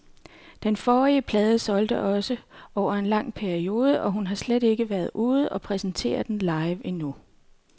Den forrige plade solgte også over en lang periode, og hun har slet ikke været ude og præsentere den live endnu.